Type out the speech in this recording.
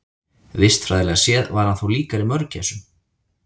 Vistfræðilega séð var hann þó líkari mörgæsum.